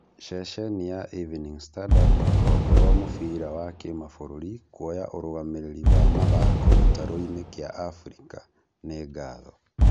Ceceni ya Evening standard rũhonge rwa mũbira wa kĩmabũrũri kwoya ũrũgamĩrĩri wa mathako gĩtaroinĩ kĩa Afrika- nĩ ngatho?